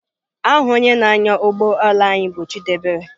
Aha onye na-anya ụgbọ ala anyị bụ Chidiebere.